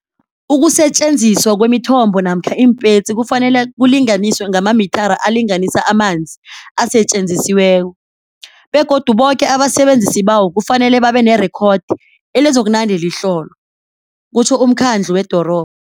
Ukusetjenziswa kwemithombo namkha iimpetsi kufanele kulinganiswe ngamamithara alinganisa amanzi asetjenzisiweko, begodu boke abasebenzisi bawo kufanele babe nerekhodi elizakunande lihlolwa, kutjho umkhandlu wedorobha.